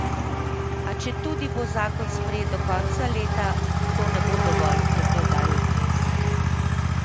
A četudi bo zakon sprejet do konca leta, to ne bo dovolj, je poudaril Knez.